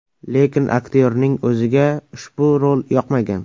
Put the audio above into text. Lekin aktyorning o‘ziga ushbu rol yoqmagan.